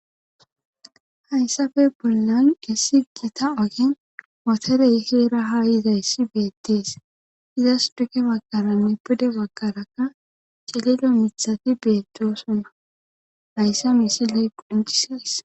hayssafe bollan gessi gita ogen moterey heera hayizayssi beettees izas duke bagkaranne pude bagkarakka cililo mithati beetosuna hayssa miisiley qoncisees